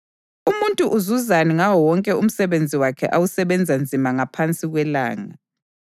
Umuntu uzuzani ngawo wonke umsebenzi wakhe awusebenza nzima ngaphansi kwelanga?